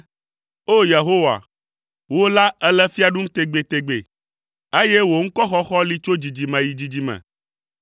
O! Yehowa, wò la èle fia ɖum tegbetegbe, eye wò ŋkɔxɔxɔ li tso dzidzime yi dzidzime.